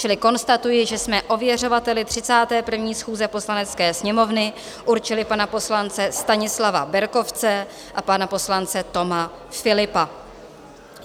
Čili konstatuji, že jsme ověřovateli 31. schůze Poslanecké sněmovny určili pana poslance Stanislava Berkovce a pana poslance Toma Philippa.